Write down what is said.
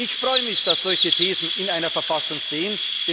Ich freue mich, dass solche Thesen in einer Verfassung stehen.